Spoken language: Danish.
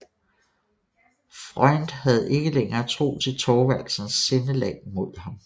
Freund havde ikke længer tro til Thorvaldsens sindelag imod ham